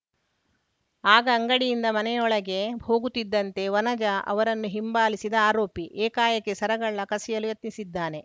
ಆಗ ಅಂಗಡಿಯಿಂದ ಮನೆಯೊಳಗೆ ಹೋಗುತ್ತಿದ್ದಂತೆ ವನಜಾ ಅವರನ್ನು ಹಿಂಬಾಲಿಸಿದ ಆರೋಪಿ ಏಕಾಏಕಿ ಸರಗಳ್ಳ ಕಸಿಯಲು ಯತ್ನಿಸಿದ್ದಾನೆ